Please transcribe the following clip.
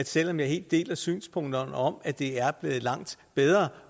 selv om jeg helt deler synspunkterne om at det er blevet langt bedre